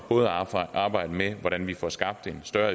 arbejde med hvordan vi får skabt en større